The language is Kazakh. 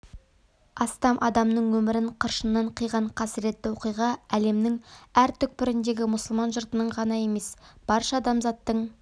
астам адамның өмірін қыршыннан қиған қасіретті оқиға әлемнің әр түкпіріндегі мұсылман жұртының ғана емес барша адамзаттың